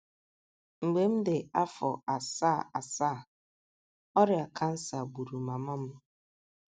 Mgbe m dị afọ asaa asaa, ọrịa kansa gburu mama m.